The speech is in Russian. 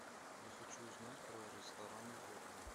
я хочу узнать про рестораны в городе